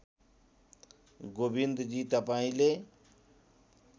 गोविन्दजी तपाईँले